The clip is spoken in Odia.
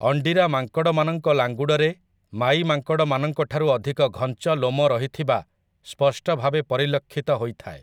ଅଣ୍ଡିରା ମାଙ୍କଡ଼ମାନଙ୍କ ଲାଙ୍ଗୁଡ଼ରେ ମାଈ ମାଙ୍କଡ଼ମାନଙ୍କଠାରୁ ଅଧିକ ଘଞ୍ଚ ଲୋମ ରହିଥିବା ସ୍ପଷ୍ଟଭାବେ ପରିଲକ୍ଷିତ ହୋଇଥାଏ ।